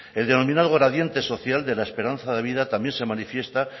el denominado gradiente social de la esperanza de vida también se manifiesta